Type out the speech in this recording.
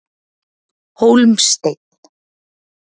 Hólmsteinn